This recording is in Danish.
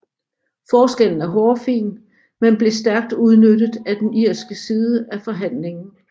Forskellen er hårfin men blev stærkt udnyttet af den irske side af forhandlingen